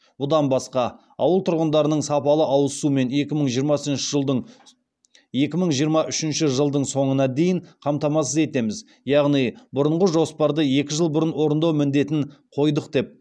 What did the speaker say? бұдан басқа ауыл тұрғындарының сапалы ауыз сумен екі мың жиырма үшінші жылдың соңына дейін қамтамасыз етеміз яғни бұрынғы жоспарды екі жыл бұрын орындау міндетін қойдық деп